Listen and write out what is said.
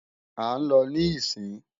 À ń lọ níìsín